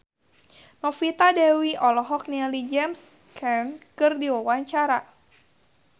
Novita Dewi olohok ningali James Caan keur diwawancara